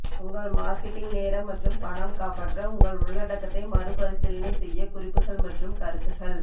உங்கள் மார்க்கெட்டிங் நேரம் மற்றும் பணம் காப்பாற்ற உங்கள் உள்ளடக்கத்தை மறுபரிசீலனை செய்ய குறிப்புகள் மற்றும் கருத்துக்கள்